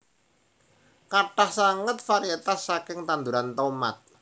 Kathah sanget varietas saking tanduran tomat